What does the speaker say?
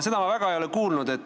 Seda ma ei ole väga kuulnud.